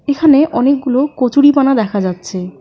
এখানে অনেকগুলো কচুরিপানা দেখা যাচ্ছে।